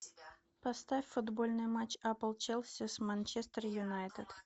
поставь футбольный матч апл челси с манчестер юнайтед